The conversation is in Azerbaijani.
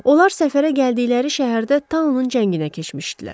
Onlar səfərə gəldikləri şəhərdə taunun cənginə keçmişdilər.